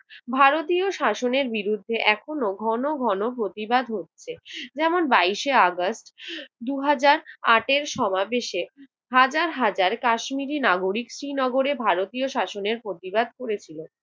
ভারতীয় শাসনের বিরুদ্ধে এখনো ঘন ঘন প্রতিবাদ হচ্ছে। যেমন বাইশে আগস্ট দু হাজার আটের সমাবেশে হাজার হাজার কাশ্মীরি নাগরিক শ্রীনগরের ভারতীয় শাসনের প্রতিবাদ করেছিল।